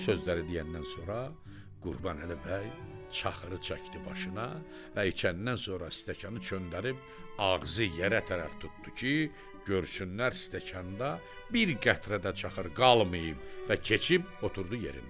Bu sözləri deyəndən sonra Qurbanəli bəy çaxırı çəkdi başına və içəndən sonra stəkanı çönərib ağzı yerə tərəf tutdu ki, görsünlər stəkanda bir qətrə də çaxır qalmayıb və keçib oturdu yerində.